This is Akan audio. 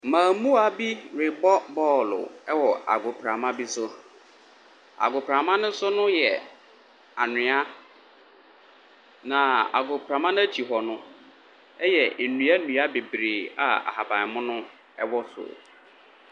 Mmarimaa bi rebɔ bɔɔlo wɔ agoprama bi so. Agoprama no so no yɛ anwea, na agoprama no akyi hɔ no yɛ nnua nnua bebree a ahabammono wɔ so.